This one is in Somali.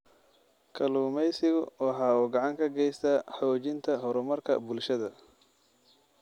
Kalluumaysigu waxa uu gacan ka geystaa xoojinta horumarka bulshada.